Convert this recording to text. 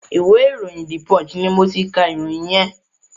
ìwé ìròyìn "The Punch" ni mo ti ka ìròyìn yẹn.